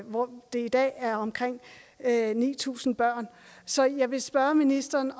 hvor det i dag er omkring ni tusind børn så jeg vil spørge ministeren